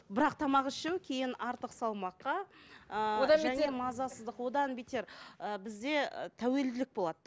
бірақ тамақ ішу кейін артық салмаққа ыыы мазасыздық одан бетер ы бізде тәуелділік болады